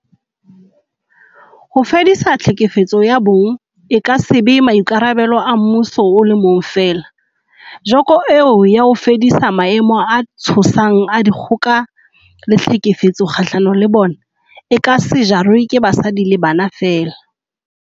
Ho fedisa tlhekefetso ya bong e ka se be maikarabelo a mmuso o le mong feela, joko eo ya ho fedisa maemo a tshosang a dikgoka le tlhekefetso kgahlano le bona, e ka se jarwe ke basadi le bana feela.